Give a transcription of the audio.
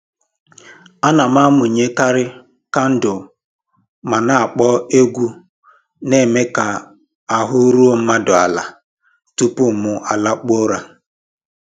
Ana m amụnyekarị kandụl ma na akpọ egwu na-eme ka ahụ́ ruo mmadụ ala tupu mụ alakpuo ụra